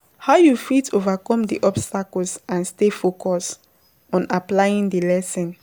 how you fit overcome di obstacles and stay focused on applying di lesson?